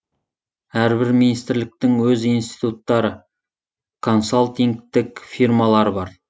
әрбір министрліктің өз институттары консалтингтік фирмалары бар